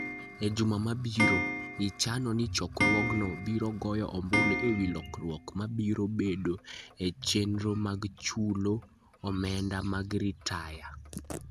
E juma mabiro, ichano ni chokruogno biro goyo ombulu e wi lokruok mabiro bedoe e chenro mag chulo omenda mag ritaya.